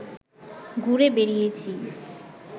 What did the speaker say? ঘুরে বেড়িয়েছি